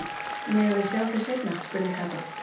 Megum við sjá þau seinna? spurði Kata.